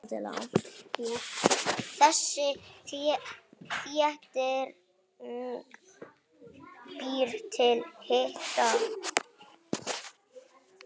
Þessi þétting býr til hita.